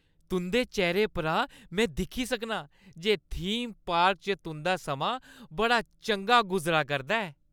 तुंʼदे चेह्‌रे परा में दिक्खी सकनां जे थीम पार्क च तुं'दा समां बड़ा चंगा गुजरा करदा ऐ ।